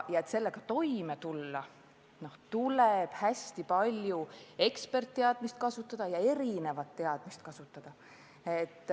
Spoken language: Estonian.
Ja et sellega toime tulla, tuleb hästi palju eksperditeadmisi kasutada, üldse erinevat teadmist kasutada.